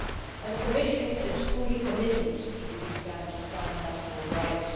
and the Commission is fully committed to the defence of fundamental rights.